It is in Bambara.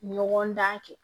Ɲɔgɔn dan kɛ